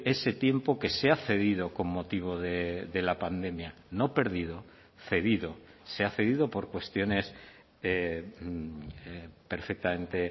ese tiempo que se ha cedido con motivo de la pandemia no perdido cedido se ha cedido por cuestiones perfectamente